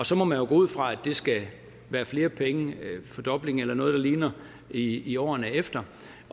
så må man jo gå ud fra at der skal være flere penge en fordobling eller noget der ligner i i årene efter